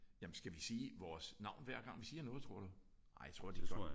Ja. Jamen skal vi sige vores navn hver gang vi siger noget tror du? Nej jeg tror de gør